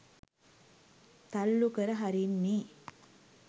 තල්ලු කර හරින්නේ?